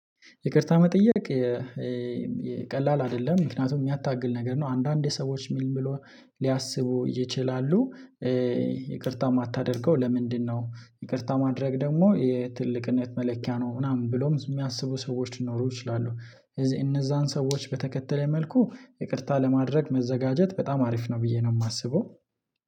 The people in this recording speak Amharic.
ይቅርታ መጠየቅ ቀላል አይደለም ምክንያቱም የሚያታግል ነገር ነው። አንዳንዴ ሰዎች ምንብለው ሊያስቡ ይችላሉ። ይቅርታ የማታደርገው ለምንድንነው? ይቅርታ ማድረግ ደግሞ የትልቅነት መለኪያ ነው ምናምን ብለው የሚያስቡ ሰዎች ሊኖሩ ይችላሉ። እነዛን ሰዎች በተከተለ መልኩ ይቅርታ ለማድረግ መዘጋጀት በጣም አሪፍ ነው ብዬ ነው የማስበው።